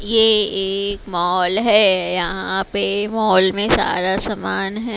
ये एक मॉल है यहां पे मॉल में सारा सामान है।